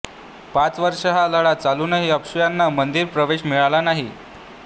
पाच वर्षं हा लढा चालूनही अस्पृश्यांना मंदिर प्रवेश मिळाला नाही